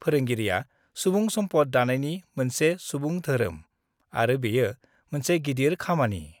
फोरोंगिरिआ सुबुं सम्पद दानायनि मोनसे सुबुं धोरोम आरो बेयो मोनसे गिदिर खामानि।